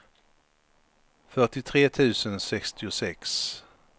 fyrtiotre tusen sextiosex